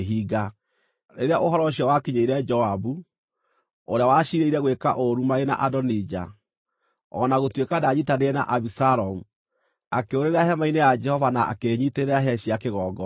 Rĩrĩa ũhoro ũcio wakinyĩire Joabu, ũrĩa waciirĩire gwĩka ũũru marĩ na Adonija, o na gũtuĩka ndaanyiitanĩire na Abisalomu, akĩũrĩra hema-inĩ ya Jehova na akĩĩnyiitĩrĩra hĩa cia kĩgongona.